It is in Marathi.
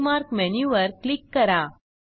बुकमार्क मेनूवर क्लिक करा